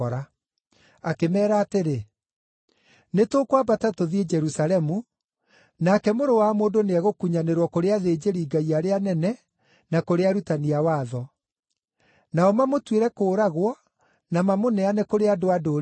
Akĩmeera atĩrĩ, “Nĩtũkwambata tũthiĩ Jerusalemu, nake Mũrũ wa Mũndũ nĩegũkunyanĩrwo kũrĩ athĩnjĩri-Ngai arĩa anene na kũrĩ arutani a watho. Nao mamũtuĩre kũũragwo na mamũneane kũrĩ andũ-a-Ndũrĩrĩ,